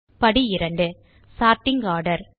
படி 2 sorting order